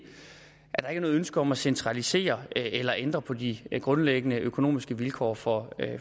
er noget ønske om at centralisere eller ændre på de grundlæggende økonomiske vilkår for